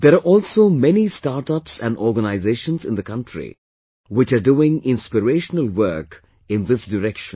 There are also many startups and organizations in the country which are doing inspirational work in this direction